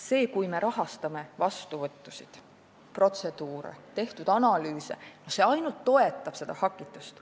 See, kui me rahastame vastuvõttusid, protseduure ja tehtud analüüse, ainult toetab seda hakitust.